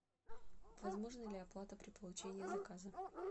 возможна ли оплата при получении заказа